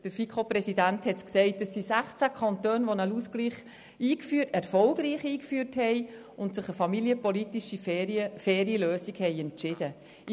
Der FiKo-Präsident hat gesagt, es seien 16 Kantone, die einen Ausgleich erfolgreich eingeführt und sich für eine faire familienpolitische Lösung entschieden hätten.